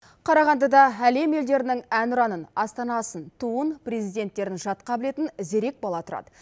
қарағандыда әлем елдерінің әнұранын астанасын туын президенттерін жатқа білетін зерек бала тұрады